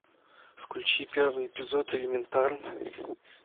включи первый эпизод элементарно